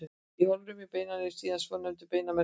Í holrúmi beinanna er síðan svonefndur beinmergur.